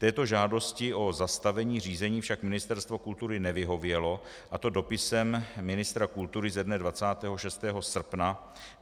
Této žádosti o zastavení řízení však Ministerstvo kultury nevyhovělo, a to dopisem ministra kultury ze dne 26. srpna.